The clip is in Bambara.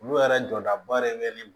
Olu yɛrɛ jɔdaba yɛrɛ bɛ ne